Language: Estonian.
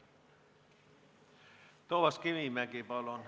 Toomas Kivimägi, palun!